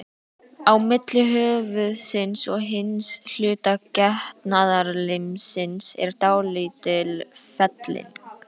Á milli höfuðsins og hins hluta getnaðarlimsins er dálítil felling.